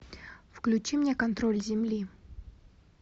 включи мне контроль земли